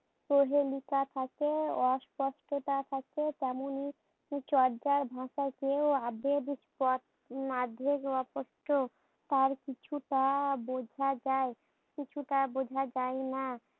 কোহেলিকা থাকে, অস্পষ্টতা থাকে তেমনই চর্যা ভাষাতেও আবেগ তার কিছুটা বোঝা যায় কিছুটা বোঝা যায় না।